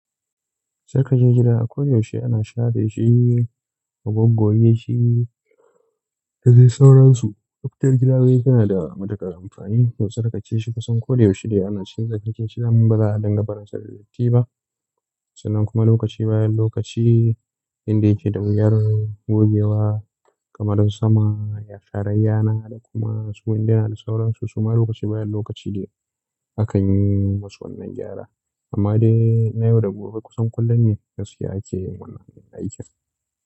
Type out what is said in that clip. Sarkaje gida ko da yaushe ana share shi, a goggoye shi da dai sauransu. Tspaptar gidanu yana da matuƙar amfani to sarkace shi kusan ko da yaushe dai ana cire kice shidan ba za a dangamara sa da datti ba. Sannan kuma lokaci bayan lokaci inda yake da wuyar gogewa kamar don sama, yatsa rayyana da kuma su inda na da sauransu su ma lokaci bayan lokaci dai akan yi masu wannan gyara. Amma dai na yau da gobe kusan kullum ne gaskiya ake yin wannan aikin.